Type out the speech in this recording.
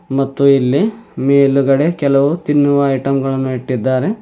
ಮತ್ತು ಇಲ್ಲಿ ಮೇಲುಗಡೆ ಕೆಲವು ತಿನ್ನುವ ಐಟಂ ಗಳನ್ನು ಇಟ್ಟಿದ್ದಾರೆ.